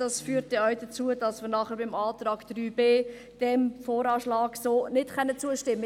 Das führt dann auch dazu, dass wir nachher beim Antrag 3b diesem Voranschlag so nicht zustimmen können.